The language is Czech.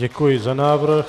Děkuji za návrh.